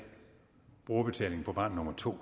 få barn nummer to